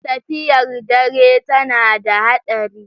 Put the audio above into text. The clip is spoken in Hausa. Tafiyar dare tana da haɗari.